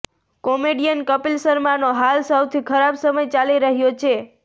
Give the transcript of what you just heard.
comedian Kapil શર્માનો હાલ સૌથી ખરાબ સમય ચાલી રહ્યો છે